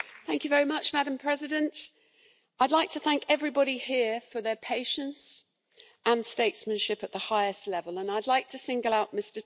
Madam President, I'd like to thank everybody here for their patience and statesmanship at the highest level, and I'd like to single out Mr Tusk.